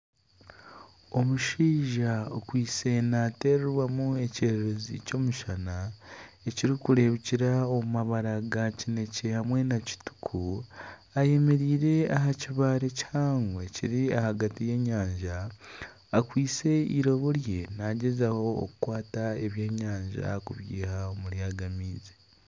Omushaija okwaitse nateerwamu ekyererezi ky'omushana ekiri kureebekyera omu mabara ga kinekye hamwe nakituku ayemereire aha kibare kihango ekiri ahagati y'enyanja akwaitse iroobo rye nagyezaho okukwata ebyenyanja okubyiiha omuri aga maizi.